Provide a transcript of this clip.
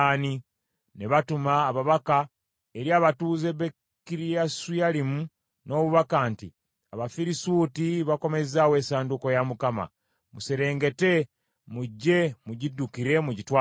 Ne batuma ababaka eri abatuuze b’e Kiriyasuyalimu n’obubaka nti, “Abafirisuuti bakomezzaawo essanduuko ya Mukama . Muserengete, mujje mugiddukire mugitwale ewammwe.”